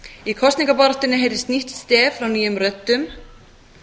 í kosningabaráttunni heyrðist nýtt stef frá nýjum röddum